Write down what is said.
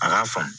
A k'a faamu